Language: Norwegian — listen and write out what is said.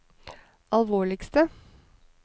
alvorligste